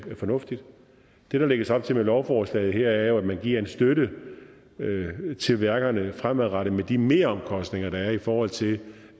fornuftigt det der lægges op til med lovforslaget her er jo at man giver en støtte til værkerne fremadrettet altså med de meromkostninger der er i forhold til